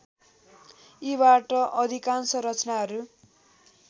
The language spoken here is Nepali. यीबाट अधिकांश रचनाहरू